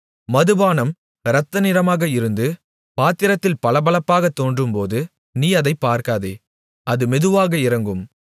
மதுபானம் இரத்த நிறமாக இருந்து பாத்திரத்தில் பளபளப்பாகத் தோன்றும்போது நீ அதைப் பார்க்காதே அது மெதுவாக இறங்கும்